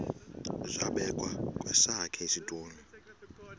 zabekwa kwesakhe isitulo